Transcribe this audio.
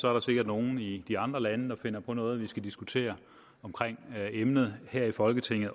er der sikkert nogle i de andre lande der finder på noget vi også skal diskutere omkring emnet her i folketinget